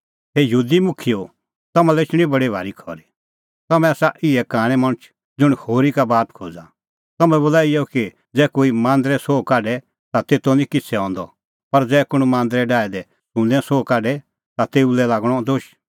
हे यहूदी मुखियेओ तम्हां लै एछणी बडी भारी खरी तम्हैं आसा इहै कांणै मणछ ज़ुंण होरी का बात खोज़ा तम्हैं बोला इहअ कि ज़ै कोई मांदरे सोह काढे ता तेतो निं किछ़ै हंदअ पर ज़ै कुंण मांदरे डाहै दै सुन्नें सोह काढे ता तेऊ लै लागणअ दोश